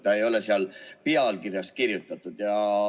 See ei ole pealkirjas kirjas.